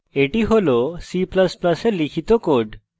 এটি হল c ++ এ লিখিত code